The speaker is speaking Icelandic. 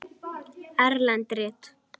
Erlend rit